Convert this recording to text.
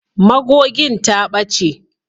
Magogin ta ɓace.